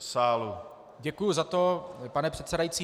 Děkuji za to, pane předsedající.